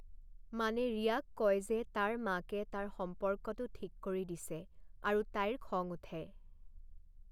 মানে ৰিয়াক কয় যে তাৰ মাকে তাৰ সম্পৰ্কটো ঠিক কৰি দিছে আৰু তাইৰ খং উঠে।